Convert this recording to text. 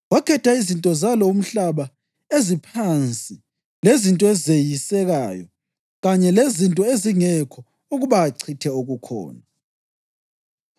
Wakhetha izinto zalo umhlaba eziphansi lezinto ezeyisekayo kanye lezinto ezingekho ukuba achithe okukhona,